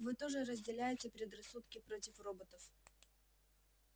вы тоже разделяете предрассудки против роботов